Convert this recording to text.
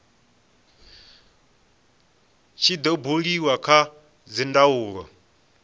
tshi do buliwa kha dzindaulo